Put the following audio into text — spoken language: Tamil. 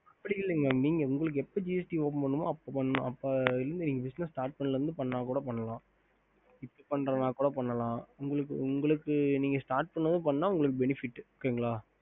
ஹம்